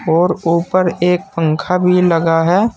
और ऊपर एक पंखा भी लगा है।